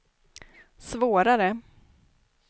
svårare